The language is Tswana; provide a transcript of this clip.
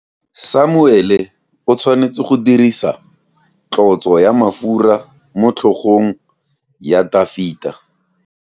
Samuele o tshwanetse go dirisa tlotso ya mafura motlhogong ya Dafita.